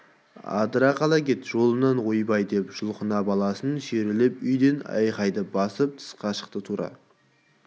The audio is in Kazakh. адыра қал кет жолымнан ойбай деп жұлқына баласын сүйрелеп үйден айқайды басып тысқа шықты тура